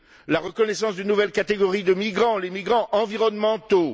la reconnaissance d'une nouvelle catégorie de migrants, les migrants environnementaux